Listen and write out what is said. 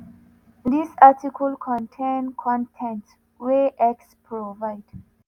dis article contain con ten t wey x provide.